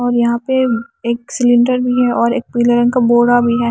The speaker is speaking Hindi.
और यहां पे एक सिलेंडर भी है और एक पीले रंग का बोरा भी है।